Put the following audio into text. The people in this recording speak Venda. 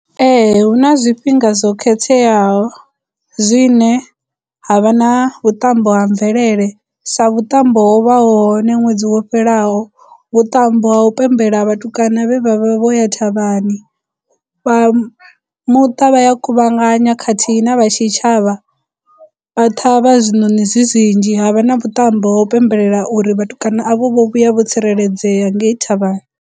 Ee hu na zwifhinga zwo khetheaho zwine ha vha na vhuṱambo ha mvelele sa vhuṱambo ho vha ho hone ṅwedzi wo fhelaho vhuṱambo ha u pembela vhatukana vhe vhavha vho ya thavhani vha muṱa vha ya kuvhangana khathihi na vha tshitshavha vha ṱhavha zwinoni zwi zwinzhi havha na vhuṱambo ha u pembelela uri vhatukana avho vho vhuya vho tsireledzea ngei thavhani.